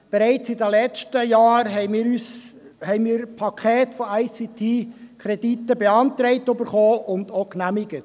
Bereits im letzten Jahr erhielten wir Pakete von ICT-Krediten beantragt, welche wir auch genehmigten.